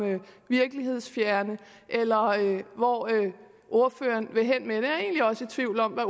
virkelighedsfjerne eller hvor det er ordføreren vil hen med det jeg er egentlig også i tvivl om hvad